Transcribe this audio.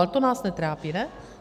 Ale to nás netrápí, ne?